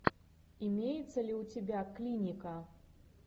имеется ли у тебя клиника